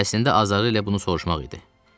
Əslində azarı ilə bunu soruşmaq idi.